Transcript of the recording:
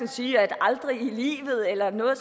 sige at aldrig i livet eller noget